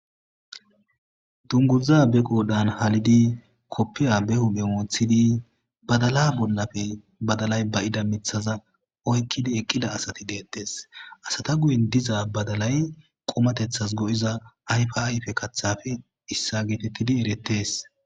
Dunguzza be qoodan halidi koppiya behume moothidi badala bollafe badalay ba'ida mithaza oykkidi eqqida asati deettes asata guyin diza badalay qomateththas go7iza ayfyfe kathafe issa geetettidi erettees